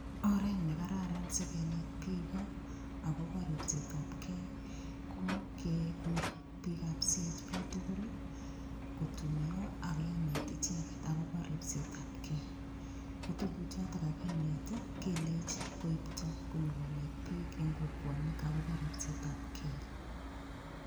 Oret nekararan sikonet biiko akobo ripsetab kei ko kekur biikab CHP tugul kotuiyo akenet icheget akobo ripsetab kei ko tukuchoto kakinet kelech koipto konyikonet biik eng' kokwonik akobo ripsetab kei